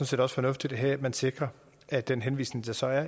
set også fornuftigt at man sikrer at den henvisning der så er